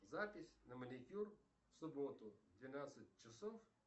запись на маникюр в субботу в двенадцать часов